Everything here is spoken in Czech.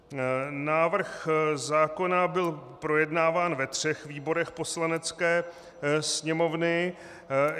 Návrh zákona byl projednáván ve třech výborech Poslanecké sněmovny.